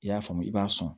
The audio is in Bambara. I y'a faamu i b'a sɔn